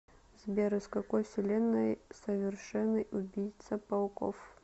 сбер из какой вселенной совершенный убийца пауков